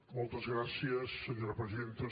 moltes gràcies senyora presidenta